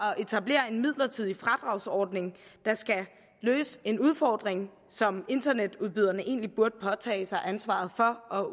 at etablere en midlertidig fradragsordning der skal løse en udfordring som internetudbyderne egentlig burde påtage sig ansvaret for og